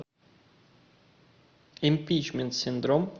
импичмент синдром